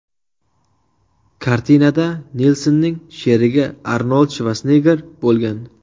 Kartinada Nilsenning sherigi Arnold Shvarsenegger bo‘lgan.